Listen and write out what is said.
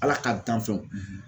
Ala ka danfɛnw